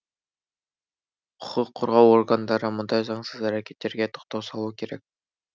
құқық қорғау органдары мұндай заңсыз әрекеттерге тоқтау салуы керек